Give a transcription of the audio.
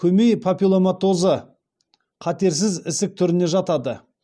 көмей папилломатозы қатерсіз ісік түріне жатады